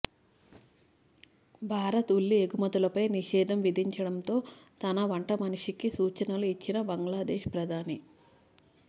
భారత్ ఉల్లి ఎగుమతులపై నిషేధం విధించడంతో తన వంటమనిషికి సూచనలు ఇచ్చిన బంగ్లాదేశ్ ప్రధాని